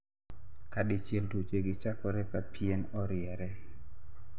kadichiel tuoche gi chakore ka pien oriere